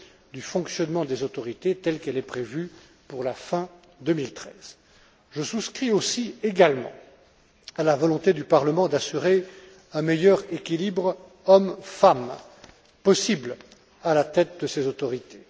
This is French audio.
du fonctionnement des autorités telle qu'elle est prévue pour la fin 2013. Je souscris aussi à la volonté du Parlement d'assurer le meilleur équilibre hommes femmes possible à la tête de ces autorités.